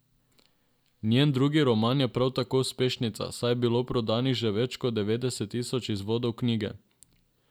Njen drugi roman je prav tako uspešnica, saj je bilo prodanih že več kot devetdeset tisoč izvodov knjige.